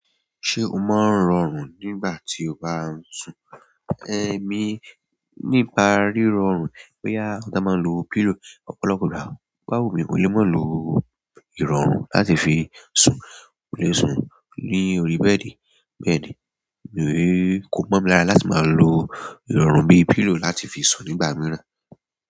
Ṣé o máa ń rọrùn nígbà tí o bá ń sùn? Emi ní bá rí rọrùn pé yà, ó dá má lọ pillow, ọ̀pọ̀lọpọ̀ ìgbà bá wù mí, mo lè máa lo irọrun láti fi sùn. Mo lè sùn ní orí bẹ́ẹ̀dì, bẹ́ẹ̀dì. Èmi ò rí, kò mọ̀ lára láti máa lo ìrọ̀rùn bíi pillow láti fi sùn nígbà mìíràn.